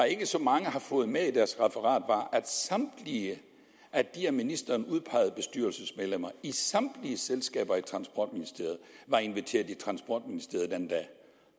ikke så mange har fået det med i deres referat at samtlige af de af ministeren udpegede bestyrelsesmedlemmer i samtlige selskaber under transportministeriet var inviteret til transportministeriet den dag